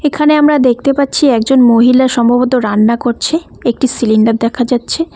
এখানে আমরা দেখতে পাচ্ছি একজন মহিলা সম্ভবত রান্না করছে একটি সিলিন্ডার দেখা যাচ্ছে।